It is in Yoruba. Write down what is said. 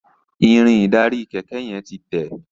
Irin ìdarí kéké yen tí Te.